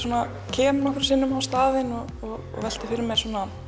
kem nokkrum sinnum á staðinn og velti fyrir mér